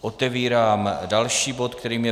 Otevírám další bod, kterým je